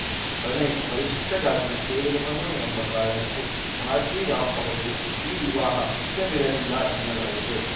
ಪ್ರಣಯ್‌ ಪರಿಶಿಷ್ಟಜಾತಿಗೆ ಸೇರಿದವನು ಎಂಬ ಕಾರಣಕ್ಕೆ ಮಾರುತಿ ರಾವ್‌ ಅವರಿಗೆ ಈ ವಿವಾಹ ಇಷ್ಟವಿರಲಿಲ್ಲ ಎನ್ನಲಾಗಿದೆ